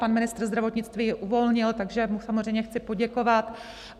Pan ministr zdravotnictví ji uvolnil, takže mu samozřejmě chci poděkovat.